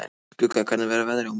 Skugga, hvernig er veðrið á morgun?